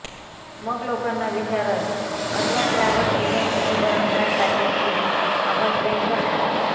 मग लोकांना विचारत अथवा ट्रव्हल एजन्सीचे भरमसाठ पॅकेज घेत आपण ट्रिप करतो